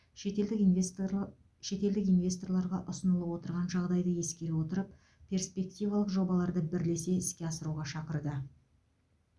шетелдік инвесторларға ұсынылып отырған жағдайды ескере отырып перспективалық жобаларды бірлесе іске асыруға шақырды